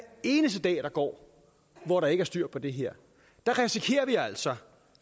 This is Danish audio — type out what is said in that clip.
eneste dag der går hvor der ikke er styr på det her risikerer vi altså